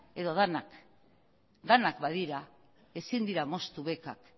edo denak denak badira ezin dira moztu bekak